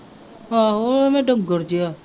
ਆਂਹੋ ਉਹ ਐਵੇਂ ਡੰਗਰ ਜਿਹਾ